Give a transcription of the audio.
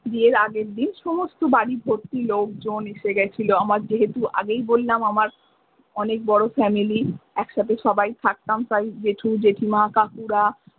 বিয়ের আগের দিন সমস্ত বাড়ি ভরতি লোকজন এসেগেছিলো আমার যেহেতু আগেই বললাম আমার অনেক বড়ো ফ্যামিলি একসাথে সবাই থাকতাম তাই যেটু যেটিমা কাকুরা।